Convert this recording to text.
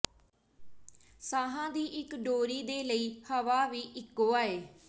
ਸਾਹਾਂ ਦੀ ਇੱਕ ਡੋਰੀ ਦੇ ਲਈ ਹਵਾ ਵੀ ਇੱਕੋ ਆਏ